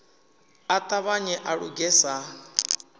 a ṱavhanye a luge sa